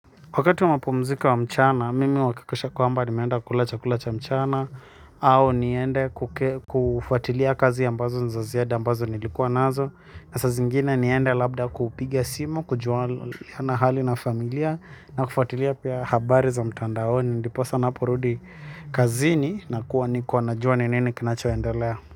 Wakati wa mapumziko ya mchana, mimi huakikisha kwamba ni meenda kula chakula cha mchana au niende kufuatilia kazi ambazo niza ziada ambazo nilikuwa nazo na saa zingine niende labda kupiga simu, kujuana hali na familia na kufuatilia pia habari za mtandaoni ndiposa naporudi kazini na kuwa niko na jua nini kinachoa endelea.